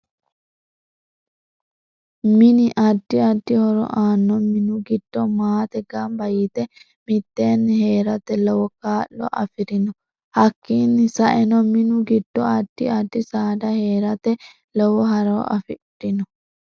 Mini addi addi horo aanno minu giddo maate ganba yite miteeni heerate lowo kaa'lo afirino hakiini sa'eno minu giddo addi addi saada heerate lowo horo afirino